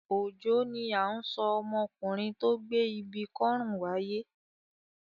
Òjó ni à ń sọ ọmọkùnrin tó gbé ibi kọ́rùn wáyé.